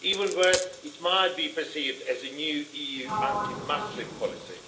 Even worse, it might be perceived as a new EU anti Muslim policy.